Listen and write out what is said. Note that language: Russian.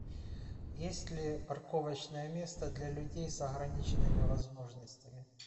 есть ли парковочное место для людей с ограниченными возможностями